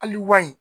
Hali wa in